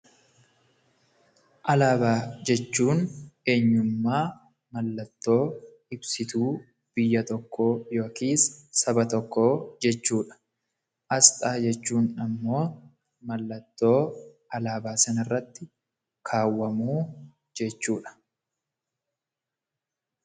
Alaabaa jechuun eenyummaa mallattoo ibsituu biyya tokkoo, saba tokkoo jechuudha. Asxaa jechuun immoo mallattoo alaabaa sana irratti kaawwamuu jechuudha.